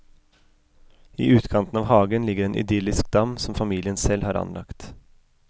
I utkanten av hagen ligger en idyllisk dam som familien selv har anlagt.